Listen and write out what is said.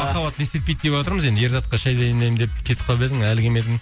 махаббат не істетпейді деватырмыз енді ерзатқа шәй дайындаймын деп кетіп қалып едің әлі келмедің